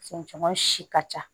Cɛncɛn si ka ca